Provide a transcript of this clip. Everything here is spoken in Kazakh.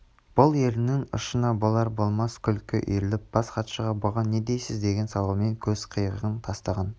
бұл еріннің ұшына болар-болмас күлкі үйіріліп бас хатшыға бұған не дейсіз деген сауалмен көз қиығын тастаған